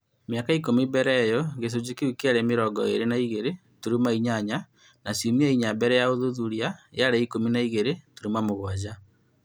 Mĩaka ikũmi mbele ĩyo, gĩcũnjĩ kĩu kĩarĩ mĩrongo ĩĩrĩ na igĩrĩ turuma inyanya na ciumia inya mbele ya ũthuthuria yaarĩ ikũmi na igĩrĩ turuma mũgwanja